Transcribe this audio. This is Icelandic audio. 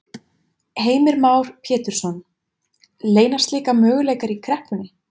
Heimir Már Pétursson: Leynast líka möguleikar í kreppunni?